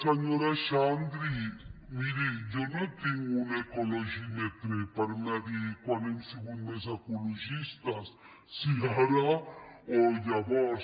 senyora xandri miri jo no tinc un ecologímetre per mesurar quan hem sigut més ecologistes si ara o llavors